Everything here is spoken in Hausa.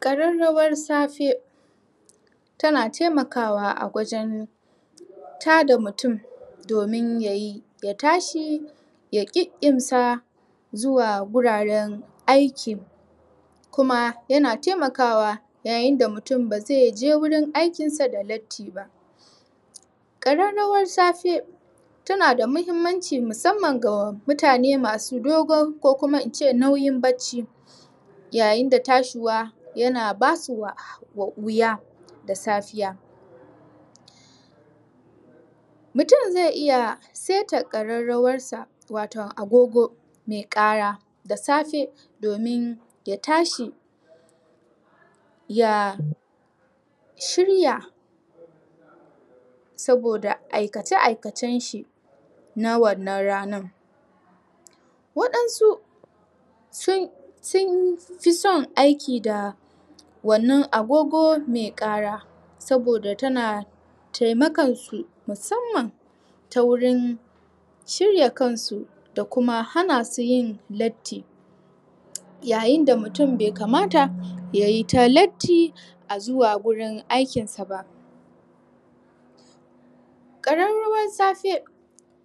Ƙararawar safe Tana taimakawa a wajen Tada mutum Domin ya tashi Ya kikkimsa Zuwa guraren aiki Kuma yana tamakawa yayin da mutum ba zai je wurin aikin sa da latti ba Ƙararawar safe Tana da muhimmanci musamman ga mutane masu dogon kokuma in ce nauyin barci Yayin da tashiwa yana basu wuya da safiya Mutum zai iya saita ƙararawarsa, wato agogo mai ƙara da safe domin ya tashi Ya shirya Saboda aikace aikacen shi na wannan ranar Waɗansu Sun fi son aiki da Wannan agogo mai ƙara Saboda tana Taimakan su, musamman ta wurin Shirya kansu da kuma hanasu yin latti Yayin da mutum bai kamata yayi ta latti a zuwa gurin aikin sa ba ƙararawar safe